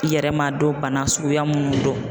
I yɛrɛ m'a dɔn bana suguya mun don.